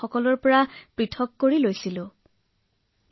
মই প্ৰয়োজনীয় সকলো সামগ্ৰী ৰাখিছিলো আৰু নিজেই কোঠাটো বন্ধ কৰি দিছিলো